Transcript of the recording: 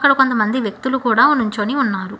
కొంతమంది వ్యక్తులు కూడా నించొని ఉన్నారు.